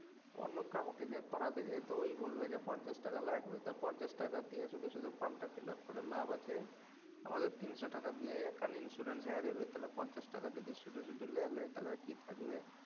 অন্য কাওকে দিয়া করাতে যাই তো ঐ বলবে পঞ্চাশ টাকা লাগবে পঞ্চাশ টাকা দিয়া শুধু শুধু ফর্মটা fill up করে লাভ আছে?